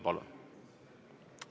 Palun!